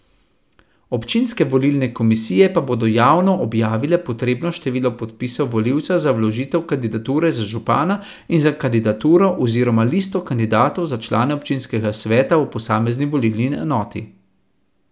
Občinske volilne komisije pa bodo javno objavile potrebno število podpisov volivcev za vložitev kandidature za župana in za kandidaturo oziroma listo kandidatov za člane občinskega sveta v posamezni volilni enoti.